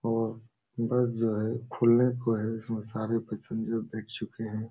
और बस जो है खुलने को है इसमें सारे पैसेंजर बैठ चुके हैं।